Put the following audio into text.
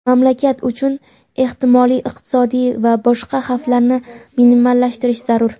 mamlakat uchun ehtimoliy iqtisodiy va boshqa xavflarni minimallashtirish zarur.